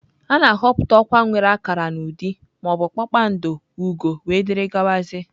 A na-ahọpụta ọkwa nwere akara n'ụdị ma ọ bụ kpakpando, ugo wdg.